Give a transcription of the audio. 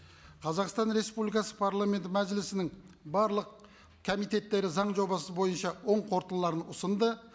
қазақстан республикасы парламенті мәжілісінің барлық комитеттері заң жобасы бойынша оң қорытындыларын ұсынды